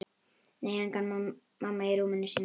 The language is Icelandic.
Nei, engin mamma í rúminu sínu.